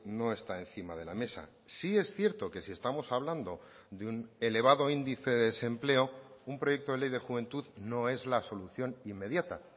no está encima de la mesa sí es cierto que si estamos hablando de un elevado índice de desempleo un proyecto de ley de juventud no es la solución inmediata